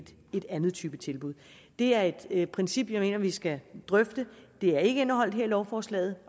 en anden type tilbud det er et princip som jeg mener at vi skal drøfte det er ikke indeholdt her i lovforslaget